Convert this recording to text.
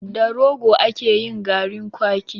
Da Rogo ake yin garin kwaki.